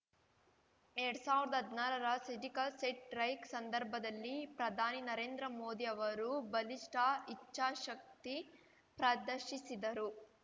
ಎರಡ್ ಸಾವಿರ್ದಾ ಹದ್ನಾರರ ಸರ್ಜಿಕಲ್‌ ಸೆಟ್ ರೈಕ್‌ ಸಂದರ್ಭದಲ್ಲಿ ಪ್ರಧಾನಿ ನರೇಂದ್ರ ಮೋದಿ ಅವರು ಬಲಿಷ್ಠ ಇಚ್ಛಾಶಕ್ತಿ ಪ್ರದರ್ಶಿಸಿದರು